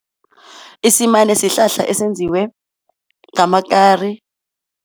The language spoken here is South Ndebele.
Isimane sihlahla esenziwe ngamakari.